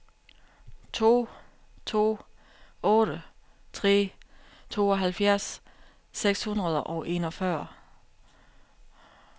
to to otte tre tooghalvfjerds seks hundrede og enogfyrre